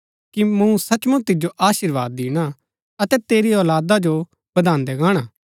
कि मूँ सचमुच तिजो अशीर्वाद दिणा अतै तेरी औलादा जो बधान्दै गाहणा